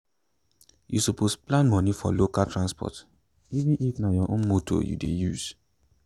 you suppose plan money for local transport even if na your own motor you dey use.